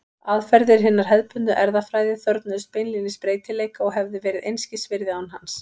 Aðferðir hinnar hefðbundnu erfðafræði þörfnuðust beinlínis breytileika og hefðu verið einskis virði án hans.